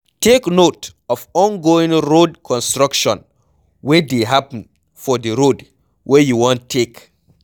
Take note of ongoing road construction wey dey happen for di road wey you wan take